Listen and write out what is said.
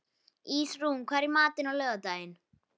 Ísrún, hvað er í matinn á laugardaginn?